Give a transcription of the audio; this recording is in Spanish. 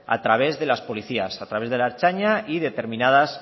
a través de las policías a través de la ertzaintza y determinadas